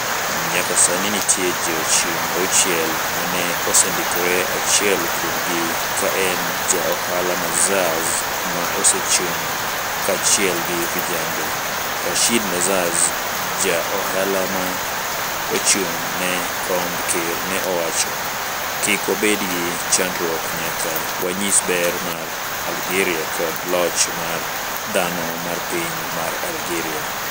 nyaka sani nitie jo chung 6 ma ne osendikre achiel kuom gi ka en ja ohala Nezzaz ma osechung kanyachiel gi vijende. Rashid Nezzaz ja ohala ma ochung ne komb ker ne owacho. kik wabed gi chandruok nyaka wanyis ber mar Algeria koda loch mar dhano mar piny mar Algeria